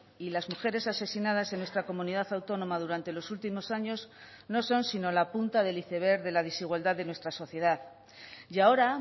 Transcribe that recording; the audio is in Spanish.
y las mujeres asesinadas en nuestra comunidad autónoma durante los últimos años no son sino la punta del iceberg de la desigualdad de nuestra sociedad y ahora